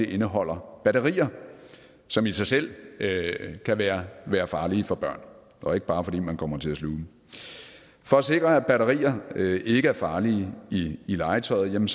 indeholder batterier som i sig selv kan være være farlige for børn og ikke bare fordi man kommer til at sluge dem for at sikre at batterier ikke er farlige i legetøjet